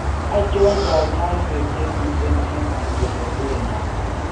Achon kanyoiseet chemiten eng' oculotaneous